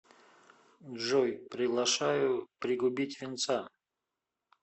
джой приглашаю пригубить винца